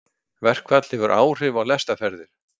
Verkfall hefur áhrif á lestarferðir